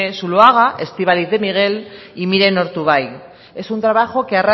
zuloaga estíbaliz de miguel y miren ortubay es un trabajo que